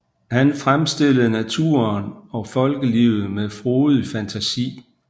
Han fremstillede naturen og folkelivet med frodighed og fantasi